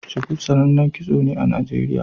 Shuku sanannen kitso ne a Nijeriya.